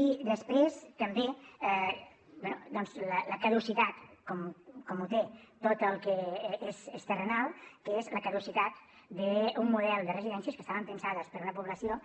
i després també bé doncs la caducitat com ho té tot el que és terrenal que és la caducitat d’un model de residències que estaven pensades per a una població